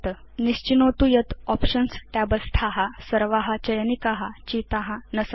निश्चिनोतु यत् options tab स्था सर्वा चयनिका चिता न सन्ति